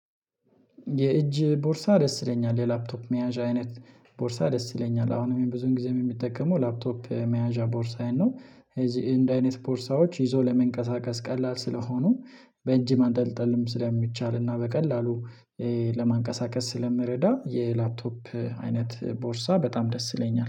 የእጅ ቦርሳ ደስ ይለኛል የላፕቶፕ መያዣ አይነት ቦርሳ ደስ ይለኛል አሁንም ብዙውን ጊዜም የምጠቀመው ላፕቶፕ መያዣ ቦርሳውያን ነው። እዚህ እንደዚህ አይነት ቦርሳዎች ይዞ ለመንቀሳቀስ ቀላል ስለሆኑ በእጂ ማንጠልጠልም ስለሚቻል እና በቀላሉ ለማንቀሳቀስ ስለሚረዳ የላፕቶፕ አይነት ቦርሳ በጣም ደስ ይለኛል